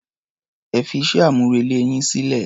Ẹ fí iṣẹ́-amúrelé yín sílẹ̀.